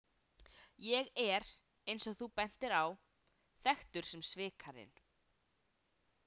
Ég er, eins og þú bentir á, þekktur sem Svikarinn